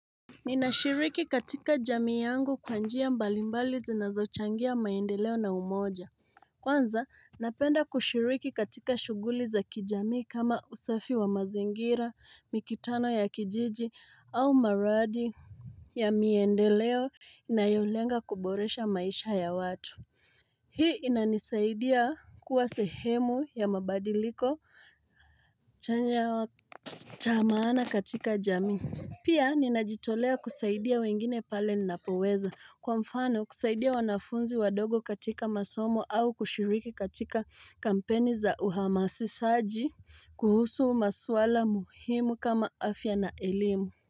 Nina shiriki katika jamii yangu kwa njia mbali mbali zinazochangia maendeleo na umoja Kwanza napenda kushiriki katika shughuli za kijamii kama usafi wa mazingira mikitano ya kijiji au maradi ya miendeleo inayolenga kuboresha maisha ya watu Hii inanisaidia kuwa sehemu ya mabadiliko chanya cha maana katika jamii Pia ninajitolea kusaidia wengine pale ninapoweza kwa mfano kusaidia wanafunzi wadogo katika masomo au kushiriki katika kampeni za uhamasisaji kuhusu maswala muhimu kama afya na elimu.